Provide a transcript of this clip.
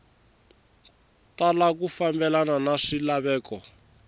tala ku fambelena na swilaveko